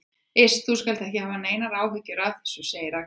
Iss, þú skalt ekki hafa neinar áhyggjur af þessu, segir Agnes.